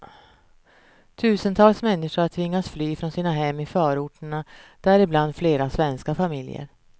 Tusentals människor har tvingats fly från sina hem i förorterna, däribland flera svenska familjer.